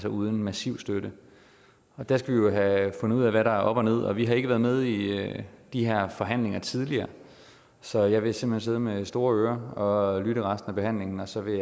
uden massiv støtte der skal vi jo have fundet ud af hvad der er op og ned og vi har ikke været med i de her forhandlinger tidligere så jeg vil simpelt hen sidde med store ører og lytte til resten af behandlingen og så vil